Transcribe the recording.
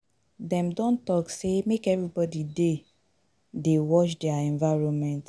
Dem don talk say make everybodi dey dey watch their environment.